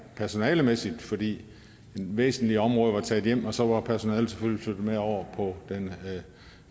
personalemæssigt fordi væsentlige områder var taget hjem og så var personalet selvfølgelig med over på den